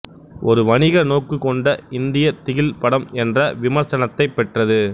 ஒரு வணிக நோக்கு கொண்ட இந்தியத் திகில் படம் என்ற விமர்சனத்தைப் பெற்றது